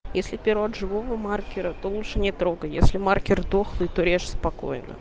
если пирог живого маркера то лучше не трогай если маркер дохлый туре спокойно